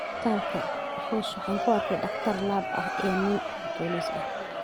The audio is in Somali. Isbitaalka, Rose waxaa ku arkay dhakhtar lab ah iyo nin booliis ah.